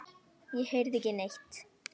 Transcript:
Ég heyrði ekki neitt.